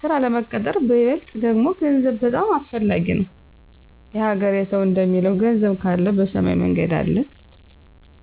ስራ ለመቀጠር በይበልጥ ደግሞ ገንዘብ በጣም አሰፈላጊ ነው። የሀገሬ ሰው እንደሚለው ገንዘብ ካለ በሰማይ መንገድ አለ።